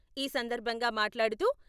ఈ సందర్భంగా మాట్లాడుతూ..